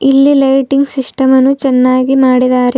ಇಲ್ಲಿ lighting system ಅನ್ನು ಚೆನ್ನಾಗಿ ಮಾಡಿದಾರೆ.